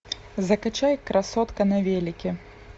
закачай красотка на велике